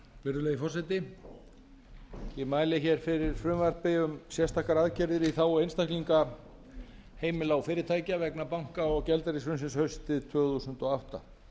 virðulegi forseti ég mæli hér fyrir frumvarpi um sérstakar aðgerðir í þágu einstaklinga heimila og fyrirtækja vegna banka og gjaldeyrishrunsins haustið tvö þúsund og átta